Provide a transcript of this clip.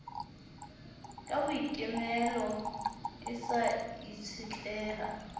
ka boikemelo e sa itshetleha